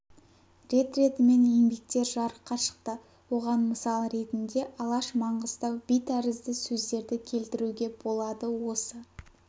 рет ретімен еңбектер жарыққа шықты оған мысал ретінде алаш маңғыстау би тәрізді сөздерді келтіруге болады осы